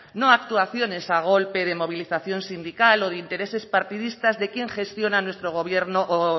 no actuaciones a golpe de movilización sindical o de intereses partidistas de quien gestiona nuestro gobierno o